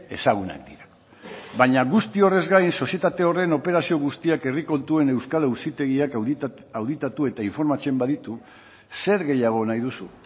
ezagunak dira baina guzti horrez gain sozietate horren operazio guztiak herri kontuen euskal auzitegiak auditatu eta informatzen baditu zer gehiago nahi duzu